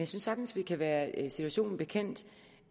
sagtens vi kan være situationen bekendt